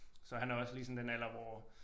Så han er også lige sådan den alder hvor